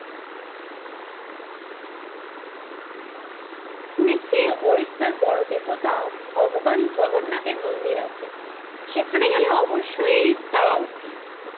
শুনেছি ওড়িশার বড় দেবতা ভগবান জগন্নাথের মন্দির আছে, সেখানে গেলে অবশ্যই যাওয়া উচিত ।